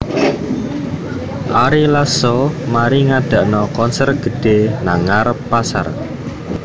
Ari Lasso mari ngadakno konser gedhe nang ngarep pasar